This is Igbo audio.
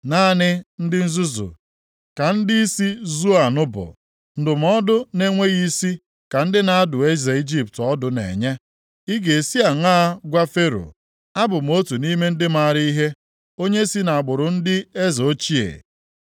Naanị ndị nzuzu ka ndịisi Zoan bụ, ndụmọdụ na-enweghị isi ka ndị na-adụ eze Ijipt ọdụ na-enye. Ị ga-esi aṅaa gwa Fero, “Abụ m otu nʼime ndị maara ihe, onye si nʼagbụrụ ndị eze ochie”?